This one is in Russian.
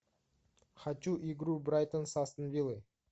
хочу игру брайтон с астон виллой